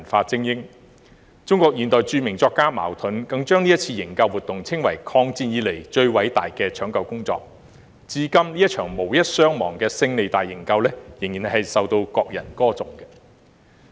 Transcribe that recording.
中國現代著名作家茅盾更把這次營救活動稱為"抗戰以來最偉大的搶救工作"，至今這場無一傷亡的"勝利大營救"仍然受到國人歌頌。